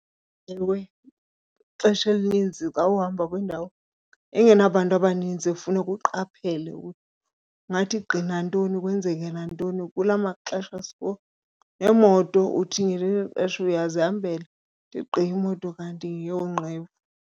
Ewe, ixesha elininzi xa uhamba kwindawo engenabantu abaninzi funeka uqaphele kungathi gqi nantoni kwenzeke nantoni. Kula maxesha sikuwo neemoto, uthi ngelinye ixesha uyazihambele ithi gqi imoto kanti yeyoonqevu.